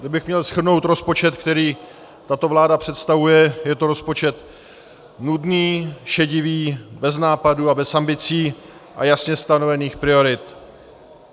Kdybych měl shrnout rozpočet, který tato vláda představuje, je to rozpočet nudný, šedivý, bez nápadů a bez ambicí a jasně stanovených priorit.